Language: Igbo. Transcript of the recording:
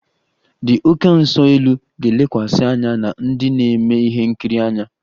The oké nso-elu ga-elekwasị anya na ndị na-eme ihe nkiri anya